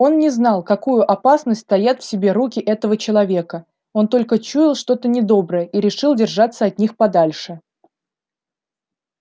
он не знал какую опасность таят в себе руки этого человека он только чуял что-то недоброе и решил держаться от них подальше